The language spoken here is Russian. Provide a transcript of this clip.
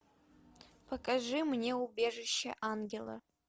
покажи мне убежище ангела